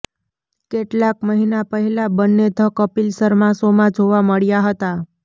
કેટલાક મહિના પહેલા બંને ધ કપિલ શર્મા શોમાં જોવા મળ્યા હતા